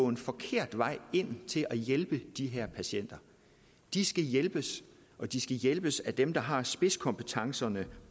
en forkert vej ind til at hjælpe de her patienter de skal hjælpes og de skal hjælpes af dem der har spidskompetencerne